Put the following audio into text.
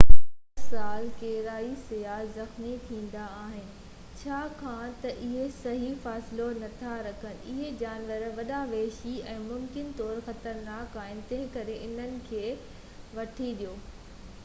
هر سال ڪيرائي سياح زخمي ٿيندا آهن ڇاڪاڻ ته اهي صحيح فاصلو نٿا رکن اهي جانور وڏا وحشي ۽ ممڪن طور خطرناڪ آهن تنهنڪري انهن کي وٿي ڏيو